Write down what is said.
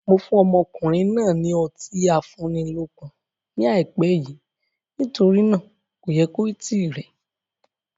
Mo fún ọmọkùnrin náà ni Ọtí afúnilókun ni ai pẹ́ yìí nítorí náà kò yẹ kó tíì rẹ.